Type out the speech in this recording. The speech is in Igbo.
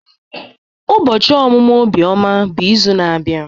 Ubochi omumu Obioma bụ izu na-abia.